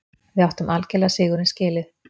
Við áttum algerlega sigurinn skilið.